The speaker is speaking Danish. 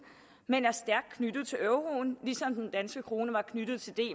men er stærkt knyttet til euroen ligesom den danske krone var knyttet til d